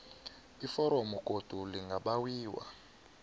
iforomo godu lingabawiwa